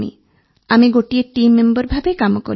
ଆମେ ଗୋଟିଏ team member ଭାବେ କାମ କଲୁ